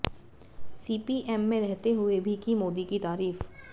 CPM में रहते हुए भी की मोदी की तारीफ